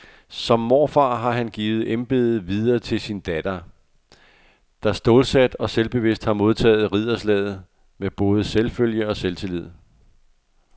Som morfar har han givet embedet videre til sin datter, der stålsat og selvbevidst har modtaget ridderslaget med både selvfølge og selvtillid.